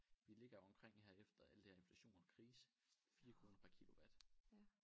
Vi ligger omkring efter al det her inflation og krise 4 kroner per kilowatt